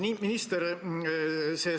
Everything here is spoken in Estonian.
Austatud minister!